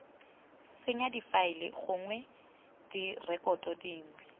senya difaele gongwe direkoto dingwe